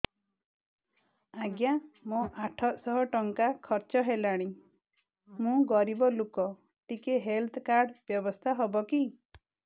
ଆଜ୍ଞା ମୋ ଆଠ ସହ ଟଙ୍କା ଖର୍ଚ୍ଚ ହେଲାଣି ମୁଁ ଗରିବ ଲୁକ ଟିକେ ହେଲ୍ଥ କାର୍ଡ ବ୍ୟବସ୍ଥା ହବ କି